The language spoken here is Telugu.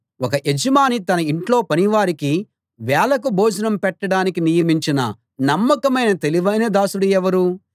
ఒక యజమాని తన ఇంట్లో పనివారికి వేళకు భోజనం పెట్టడానికి నియమించిన నమ్మకమైన తెలివైన దాసుడు ఎవరు